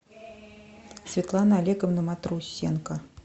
светлана олеговна матрусенко